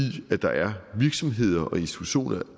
der er virksomheder og institutioner